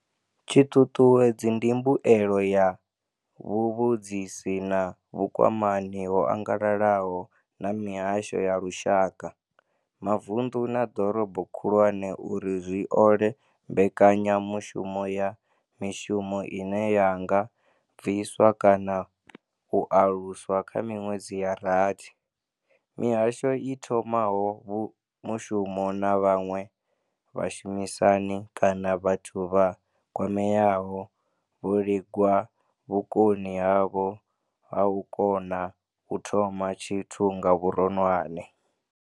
Tshiṱuṱuwedzi ndi mbuelo ya vhuvhudzisi na vhukwamani ho angalalaho na mihasho ya lushaka, mavunḓu na ḓorobo khulwane uri zwi ole mbekanyamushumo ya mishumo ine ya nga bviswa kana u aluswa kha miṅwedzi ya rathi. Mihasho i thomaho mushumo na vhaṅwe vhashumisani kana vhathu vha kwameaho vho lingwa vhukoni havho ha u kona u thoma tshithu nga vhuronwane.